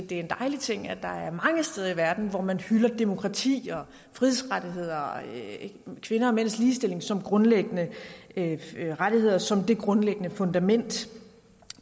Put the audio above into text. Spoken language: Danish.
det er en dejlig ting at der er mange steder i verden hvor man hylder demokrati og frihedsrettigheder kvinder og mænds ligestilling som grundlæggende rettigheder som det grundlæggende fundament